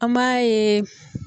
An m'a ye